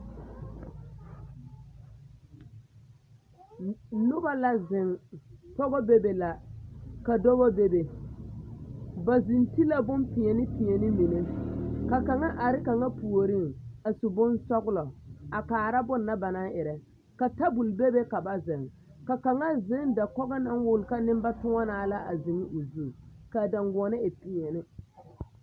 Noba la zeŋ, pɔgɔ bebe la ka dɔbɔ bebe ba zeŋ ti la bompeɛne peɛne mine ka kaŋa are kaŋa puoriŋ a su bonsɔgelɔ a kaara bonna banaŋ erɛ, ka tabol bebe ka ba zeŋ, ka kaŋa zeŋ dakogo naŋ wuli ka nembatoɔnaa la a zeŋ o zu k'a daŋgoɔne e peɛne.